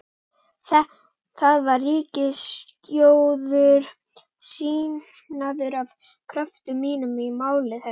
Þar var ríkissjóður sýknaður af kröfum mínum í máli þessu.